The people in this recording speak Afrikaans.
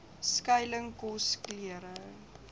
skuiling kos klere